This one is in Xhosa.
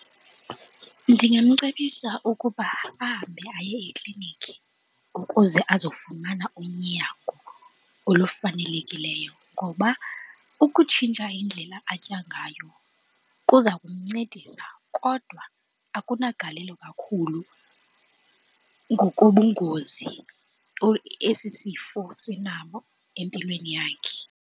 Ndingamcebisa ukuba ahambe aye ekliniki ukuze azofumana unyango olufanelekileyo, ngoba ukutshintsha indlela atya ngayo kuza kumncedisa kodwa akunagalelo kakhulu ngokobungozi esi sifo sinabo empilweni yakhe.